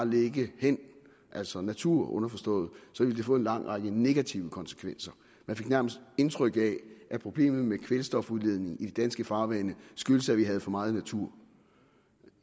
ligge hen altså natur underforstået så ville det få en lang række negative konsekvenser man fik nærmest indtryk af at problemet med kvælstofudledningen i de danske farvande skyldes at vi har for meget natur